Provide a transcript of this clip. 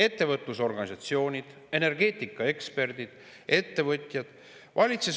Ettevõtlusorganisatsioonid, energeetikaeksperdid, ettevõtjad.